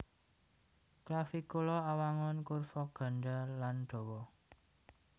Clavicula awangun kurva gandha lan dawa